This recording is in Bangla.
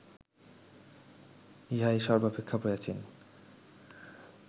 ইহাই সর্ব্বাপেক্ষা প্রাচীন